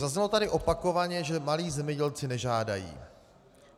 Zaznělo tady opakovaně, že malí zemědělci nežádají.